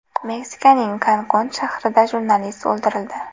Meksikaning Kankun shahrida jurnalist o‘ldirildi.